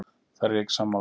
Þar er ég ekki sammála.